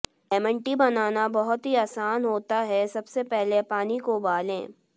lemon tea बनाना बहुत ही आसान होता है सबसे पहले पानी को उबालें